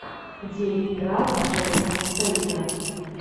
где играл джейсон стэйтем